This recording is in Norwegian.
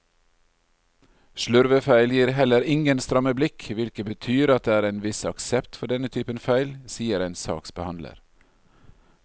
Slurvefeil gir heller ingen stramme blikk, hvilket betyr at det er en viss aksept for denne typen feil, sier en saksbehandler.